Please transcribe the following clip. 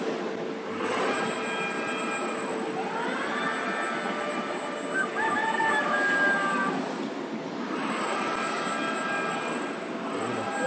বুজিলা?